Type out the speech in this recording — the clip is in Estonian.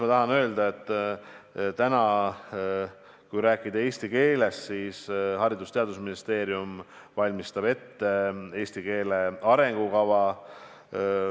Ma tahan öelda, et kui rääkida eesti keelest, siis Haridus- ja Teadusministeerium valmistab praegu ette eesti keele arengukava.